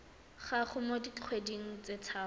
gago mo dikgweding tse tharo